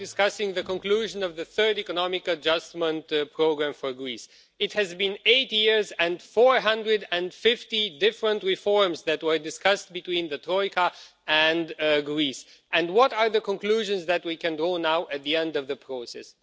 Madam President, we are now discussing the conclusion of the third economic adjustment programme for Greece. It has been eight years, and 450 different reforms that were discussed between the Troika and Greece, and what are the conclusions that we can draw now at the end of the process?